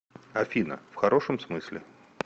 афина в хорошем смысле